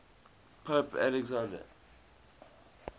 pope alexander